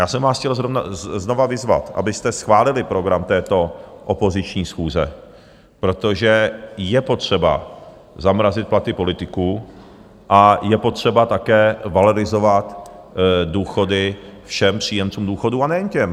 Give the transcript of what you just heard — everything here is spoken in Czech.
Já jsem vás chtěl znova vyzvat, abyste schválili program této opoziční schůze, protože je potřeba zamrazit platy politiků a je potřeba také valorizovat důchody všem příjemcům důchodů, a nejen těm.